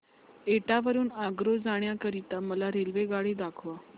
एटा वरून आग्रा जाण्या करीता मला रेल्वेगाडी दाखवा